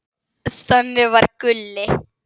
Þannig var Gulli.